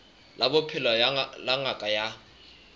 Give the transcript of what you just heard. la bophelo la ngaka ya